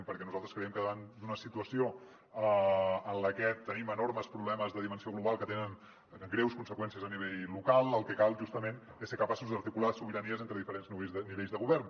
perquè nosaltres creiem que davant d’una situació en la que tenim enormes problemes de dimensió global que tenen greus conseqüències a nivell local el que cal justament és ser capaços d’articular sobiranies entre diferents nivells de govern